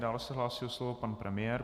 Dále se hlásí o slovo pan premiér.